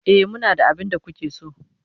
E, muna da abin da kuke so.